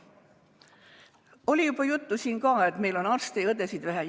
Oli juba juttu, et meil on arste ja õdesid vähe.